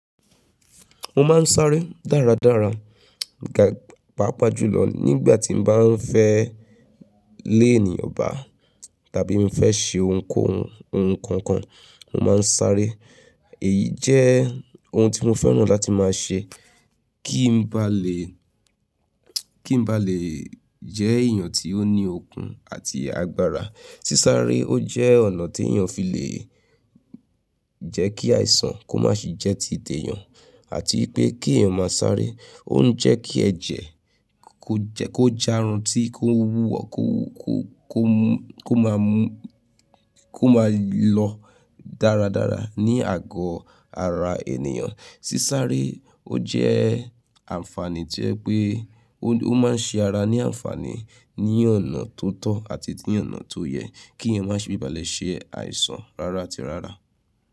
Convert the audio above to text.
Mo máa ń sáré dáradára, ga paapaa jù lọ nígbà tí m bá ń fẹ́ lé ènìyàn bá tàbí mo fẹ́ ṣe ohun kan kan, mo máa ń sáré. Èyí jẹ́ ohun tí mo fẹ́ràn láti máa ṣe kí n ba lè, kí n ba lè jẹ́ èèyàn tí ó ní okun àti agbára. Sísáré ó jẹ́ ọ̀nà tí èèyàn fi lè jẹ́ kí àìsàn kó má ṣe jẹ́ ti tẹ̀ yàn àti pé kí èèyàn máa sáré, ó ń jẹ́ kí ẹ̀jẹ̀ kó jẹ́ kó já run tí kó wúwọ̀ kó máa mú, kó máa lọ dáradára ní àgọ́ ara ènìyàn. Sísáré ó jẹ́ àǹfààní tí ó yé pé ó máa ń ṣe ara ní àǹfààní ní ọ̀nà tó tọ́ àti ní ọ̀nà tó yẹ kí èèyàn má ṣe bi ìbálẹ̀ ṣe àìsàn rárá tirárá.